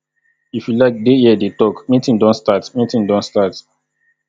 if you like dey here dey talk meeting don start meeting don start